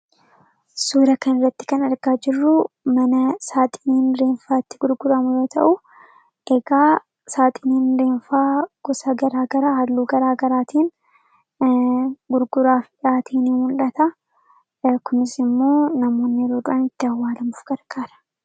Suura kana irratti kan argaa jirru mana saaxiniin reenfaa itti gurguramu yoo ta'uu eegaa saaxiniin reenfaa gosa garaa gara halluu garaa garaatiin gurguraaf qopheessanii fi yeroo namni du'e ittiin awwaalanidha.